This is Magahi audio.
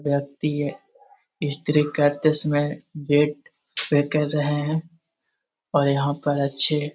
व्यक्ति है स्त्री करते समय गेट पे कर रहे हैं और यहाँ पर अच्छे --